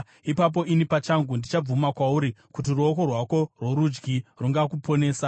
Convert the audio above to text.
Ipapo ini pachangu ndichabvuma kwauri kuti ruoko rwako rworudyi rungakuponesa.